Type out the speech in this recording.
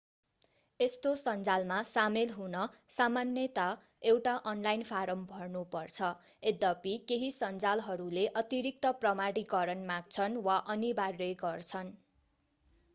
यस्तो सञ्जालमा सामेल हुन सामान्यता एउटा अनलाइन फाराम भर्नु पर्छ यद्यपि केही सञ्जालहरूले अतिरिक्त प्रमाणीकरण माग्छन् वा अनिवार्य गर्छन्